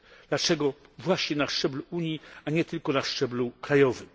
Dlaczego właśnie na szczeblu Unii, a nie tylko na szczeblu krajowym?